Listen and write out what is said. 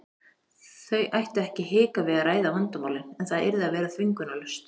Þau ættu ekki að hika við að ræða vandamálin en það yrði að vera þvingunarlaust.